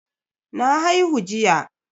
Na haihu jiya.